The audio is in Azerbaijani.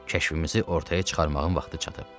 Kəşfimizi ortaya çıxarmağın vaxtı çatıb.